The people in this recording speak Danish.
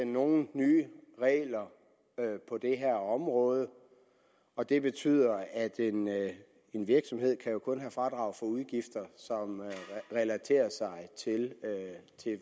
nogen nye regler på det her område og det betyder at en at en virksomhed jo kun kan få fradrag for udgifter som relaterer sig til